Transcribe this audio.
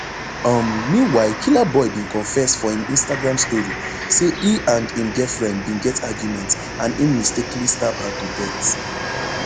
um meanwhile killaboi bin confess for im instagram story say e and im girlfriend bin get argument and im mistakenly stab her to death